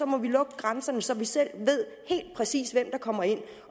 må lukke grænserne så vi selv helt præcist ved hvem der kommer ind